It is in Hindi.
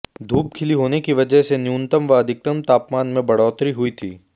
धूप खिली होने की वजह से न्यूनतम व अधिकतम तापमान में बढ़ोतरी हुई थी